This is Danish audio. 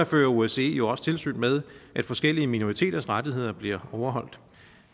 fører osce jo også tilsyn med at forskellige minoriteters rettigheder bliver overholdt